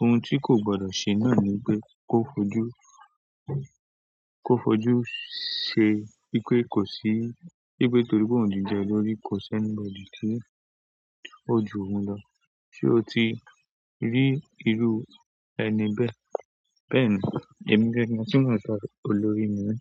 Ohun tí kò gbọdọ̀ ṣe náà ni wípé ko fojú se wípé kò sí wípé torí pé òun jẹ́ olórí kò sẹ́ni tí o jù òun lọ se o ti rí irú rni bẹ́ẹ̀. Bẹ́ẹ̀ ni, èmi gẹ́gẹ́ bí ẹni tí mo ń sọ̀rọ̀ olórí ni mi.